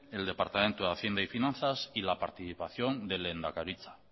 el departamento de hacienda y finanzas y la participación de lehendakaritza